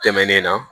Tɛmɛnen na